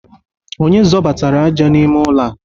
Onye zọbatara aja n'ime ụlọ a?